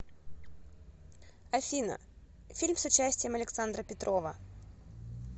афина фильм с участием александра петрова